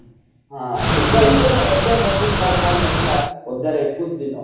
ହଁ ବିନ୍ଦାସ୍ ଯେ ଏବେ ମଝିରେ ତାର form ନଥିଲା ହଜାରେ ଏକୋଇଶି ଦିନ